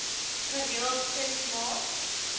gereeld ses maand